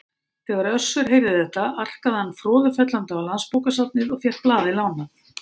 Þegar Össur heyrði þetta arkaði hann froðufellandi á Landsbókasafnið og fékk blaðið lánað.